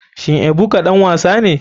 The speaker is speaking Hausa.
Shin ebuka ɗan wasa ne.